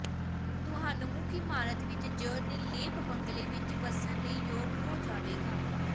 ਤੁਹਾਨੂੰ ਮੁੱਖ ਇਮਾਰਤ ਵਿੱਚ ਜ ਨਿਰਲੇਪ ਬੰਗਲੇ ਵਿਚ ਵੱਸਣ ਲਈ ਯੋਗ ਹੋ ਜਾਵੇਗਾ